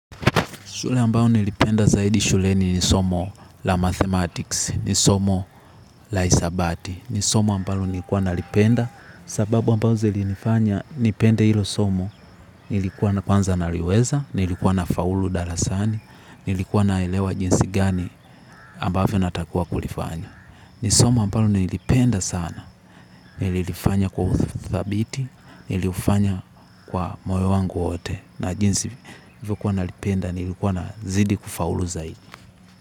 Shule ambayo nilipenda zaidi shuleni nisomo la mathematics, nisomo la isabati, nisomo ambalo nilikuwa nalipenda sababu ambao zili nifanya nipende hilo somo nilikuwa na kwanza naliweza, nilikuwa na faulu darasani, nilikuwa naelewa jinsi gani ambavyo natakiwa kulifanya. Nisomo ambalo nilipenda sana, nilifanya kwa uthabiti, nilifanya kwa moyo wangu wote na jinsi hivyo kuwa na lipenda, nilikuwa na zidi kufaulu zaidi.